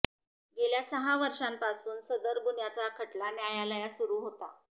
गेल्या सहा वर्षांपासून सदर गुन्हयाचा खटला न्यायालयात सुरू होता